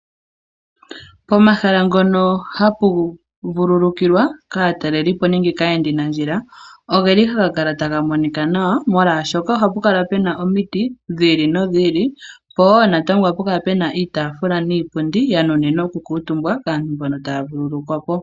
Pomahala ngono ha pu vululukilwa, kaatalelipo nenge kaayenda nandjila, oge li ha ga kala ta ga monika nawa molwashoka, oha pu kala pena omiti, dhi ili nodhi ili, po eo natango oha pu kala pena iitafula niipundi ya nunimwa oku kuutumba, kaantu mbono ta ya vululukwapo.